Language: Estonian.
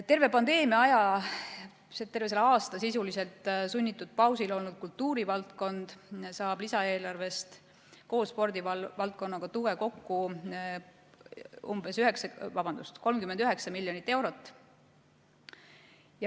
Terve pandeemia aja, terve selle aasta sisuliselt sunnitud pausil olnud kultuurivaldkond saab lisaeelarvest koos spordivaldkonnaga tuge kokku umbes 39 miljonit eurot.